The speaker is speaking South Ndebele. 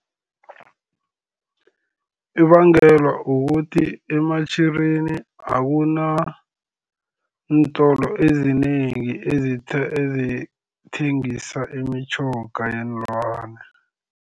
Kubangelwa kukuthi eMatjhirini akunantolo ezinengi ezithengisa imitjhoga yeenlwana.